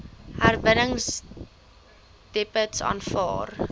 herwinningsdepots aanvaar